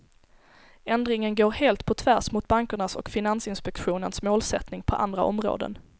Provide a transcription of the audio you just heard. Ändringen går helt på tvärs mot bankernas och finansinspektionens målsättning på andra områden.